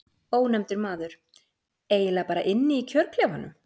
Ónefndur maður: Eiginlega bara inni í kjörklefanum?